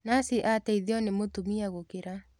Nathi ateithio ni mũtumia gũkĩra.